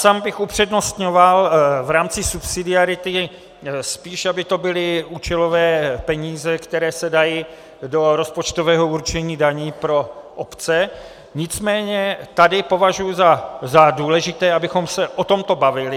Sám bych upřednostňoval v rámci subsidiarity spíše, aby to byly účelové peníze, které se dají do rozpočtového určení daní pro obce, nicméně tady považuji za důležité, abychom se o tomto bavili.